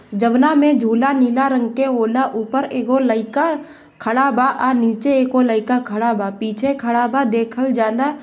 जमना मे झूला नीला रंग के ओना ऊपर लइका खड़ा बा आ नीचे एको लइका खड़ा बा पीछे खड़ा बा देखल जाला।